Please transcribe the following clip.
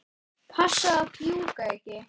Passaðu að fjúka ekki.